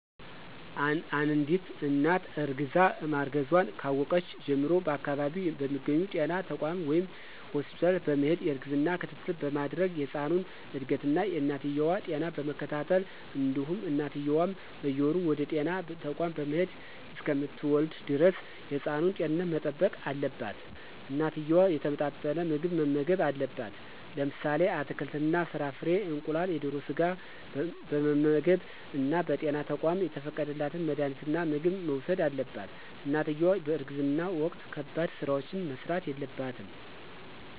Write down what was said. አንድት እናት እርግዛ ማርገዟን ካወቀች ጀምሮ በአከባቢው በሚገኙ ጤና ተቋማት ወይም ሆስፒታል በመሄድ የእርግዝና ክትትል በማድረግ የህፃኑን እድገት እና የእናትየዋ ጤና በመከታተል እንዲሁም እናትየዋም በየወሩ ወደጤና ተቋም በመሄድ እሰከምትወልድ ደረስ የህፃኑን ጤንነት መጠበቅ አለባት። እናትየዋ የተመጣጠነ ምግብ መመገብ አለባት። ለምሳሌ አትክልት እና ፍራፍሬ፣ እንቁላል፣ የደሮ ስጋ በመመገብ እና በጤና ተቋማት የተፈቀደላት መድሀኒትና ምግብ መውሰድ አለባት። እናትየዋ በእርግዝና ወቅት ከባድ ስራዎች መስራት የለባትም።